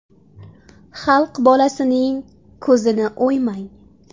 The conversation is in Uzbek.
Xalq bolasining ko‘zini o‘ymang.